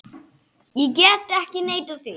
Ég get ekki neitað því.